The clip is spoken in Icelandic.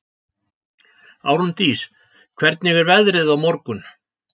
Árndís, hvernig er veðrið á morgun?